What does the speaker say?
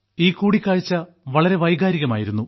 ഈ കൂടിക്കാഴ്ച വളരെ രസകരവും വൈകാരികവുമായിരുന്നു